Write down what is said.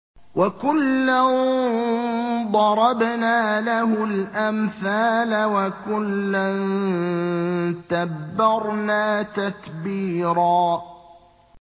وَكُلًّا ضَرَبْنَا لَهُ الْأَمْثَالَ ۖ وَكُلًّا تَبَّرْنَا تَتْبِيرًا